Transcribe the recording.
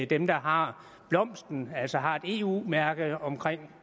dem der har blomsten altså har et eu mærke om